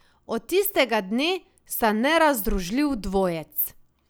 Od tistega dne sta nerazdružljiv dvojec.